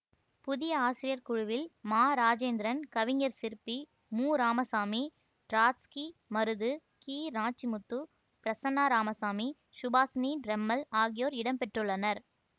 புதிய ஆசிரியர் குழுவில் மா ராசேந்திரன் கவிஞர் சிற்பி முராமசாமி ட்ராட்ஸ்கி மருது கிநாச்சிமுத்து பிரசன்னா ராமசாமி சுபாஷினி ட்ரெம்மல் ஆகியோர் இடம் பெற்றுள்ளனர்